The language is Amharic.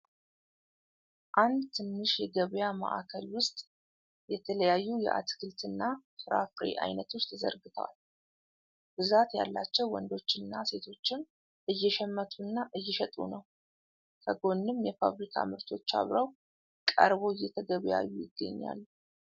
አንድ ትንሽ የገበያ መአከል ውስጥ የተለያዩ የአትክልት እና ፍራፍሬ አይነቶች ተዘርግተዋል ። ብዛት ያላቸው ወንዶች እና ሴቶችም እየሸመቱ እና እየሸጡ ነው ። ከጎንም የፋብሪካ ምርቶች አብረው ቀረበው እየተገበያዩ ይገኛሉ ።